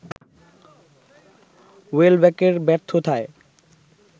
ওয়েলব্যকের ব্যর্থতায়